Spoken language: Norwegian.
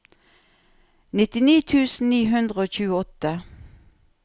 nittini tusen ni hundre og tjueåtte